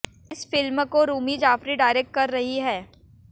इस फिल्म को रूमी जाफरी डायरेक्टर कर रही हैं